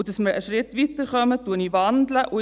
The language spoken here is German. Und damit wir einen Schritt weiterkommen, wandle ich.